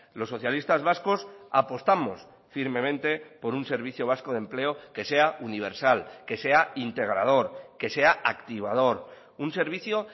los socialistas vascos apostamos firmemente por un servicio vasco de empleo que sea universal que sea integrador que sea activador un servicio